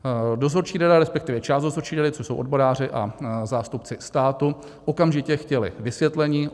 Dozorčí rada, respektive část dozorčí rady, což jsou odboráři a zástupci státu, okamžitě chtěli vysvětlení.